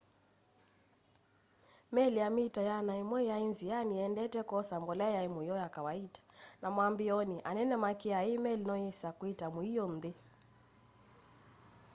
meli ya mita 100 yaĩ nzĩanĩ ĩendete kwosa mbolea yam'yo ya kawaita na mwambĩĩonĩ anene makĩaa i meli noyĩse kwĩta mũio nthĩ